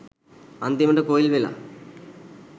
අන්තිමටම coil වෙලා.